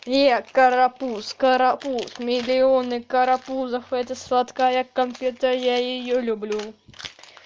привет карапуз карапуз миллионы карапузов это сладкая конфета я её люблю